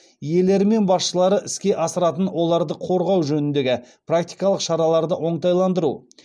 иелері мен басшылары іске асыратын оларды қорғау жөніндегі практикалық шараларды оңтайландыру